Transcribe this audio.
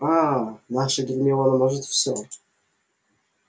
аа наша гермиона может все